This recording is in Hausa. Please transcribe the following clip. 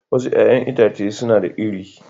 Wasu 'ya'yan itace suna da iri